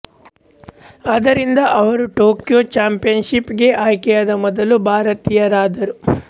ಆದ್ದರಿಂದ ಅವರು Tokyo championship ಗೆ ಆಯ್ಕೆಯಾದ ಮೊದಲ ಭಾರತೀಯರಾದರು